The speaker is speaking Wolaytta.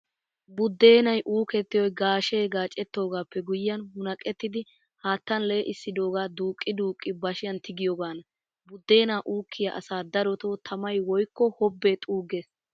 Buddeenay uukettiyoy gaashe gaacettoogaappe guyyiyaan munaqettidi haattan lee'issidoogaa duuqqi duuqqidi bashiyaan tigiyoogaana. Buddeenaa uukkiyaa asaa darotoo tamay woykko hobbee xuuggees.